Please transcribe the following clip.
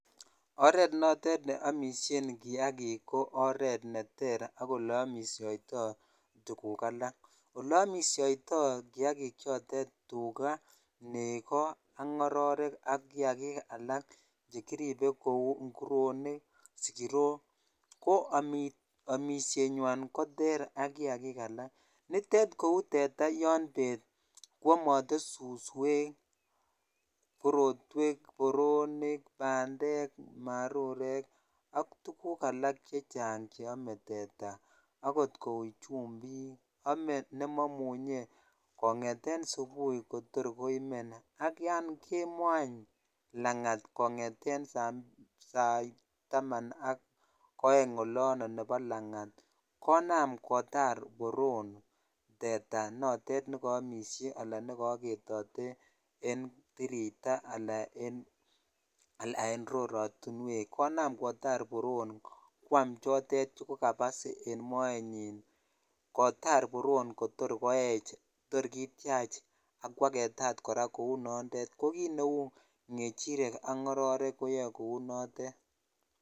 oret notet neomishen kiakik ko oret neter ko oleomishoto tuguk alak oleomishoito kiakikchotet tuga nego ak ngororek ak kiakik alak chekiribe kou nguronik sigirok ko amishenywan koter ak kiakik alak notet kou tuga yon bet koamote suswek korotwek boroni bandek marurek ak tuguk alak chechang cheome teta ak ot kou chumbik ame nemoimunye kongeten subui kotor koien ak yon kemoo any langat kongeten sait taman ak oeng olon nepo langat konam kotar boron teta notet nekomishe alan nekoketote en tirita alan en rorotinwek konam kotar boron kwam chotet chekukabas en moenyin kotar boron kotor koech tor kitiach akwaketat kora kounondet kokitneu kechirek ak ngororek koyoe kora kounotet